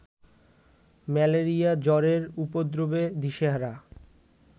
malaria জ্বরের উপদ্রবে দিশেহারা